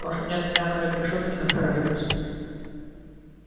лошади отпрянули от решётки и насторожились